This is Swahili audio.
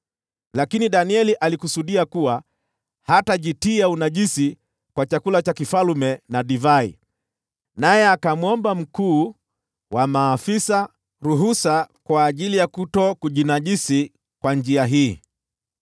Lakini Danieli alikusudia kuwa hatajitia unajisi kwa chakula cha mfalme na divai, naye akamwomba mkuu wa maafisa ruhusa ili asijinajisi kwa njia hii.